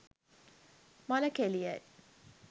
මල කෙලියයි